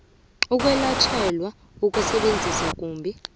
ukwelatjhelwa ukusebenzisa kumbi